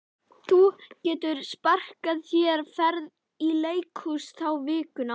Þú getur sparað þér ferð í leikhús þá vikuna.